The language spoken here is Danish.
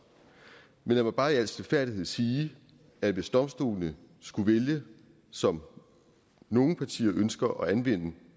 men lad mig bare i al stilfærdighed sige at hvis domstolene skulle vælge som nogle partier ønsker at anvende